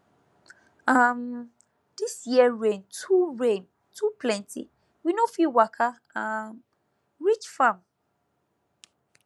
um this year rain too rain too plenty we no fit waka um reach farm